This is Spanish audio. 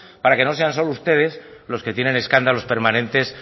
para que no sean solo ustedes los que tienen escándalos permanentes